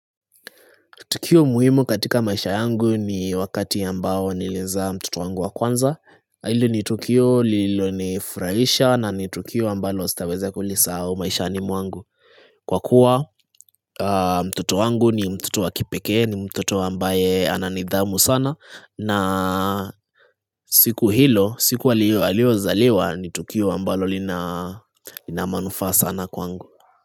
Tukio muhimu katika maisha yangu ni wakati ambao niliezaa mtoto wangu wa kwanza Hilo ni tukio lilonifuraisha na ni tukio ambalo sitaweza kulisahau maishani mwangu. Kwa kuwa mtoto wangu ni mtoto wa kipekee ni mtoto ambaye ana nidhamu sana na siku hilo siku aliozaliwa ni tukio ambalo lina manufaa sana kwangu.